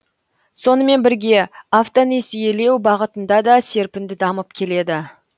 сонымен бірге автонесиелеу бағытында да серпінді дамып келеді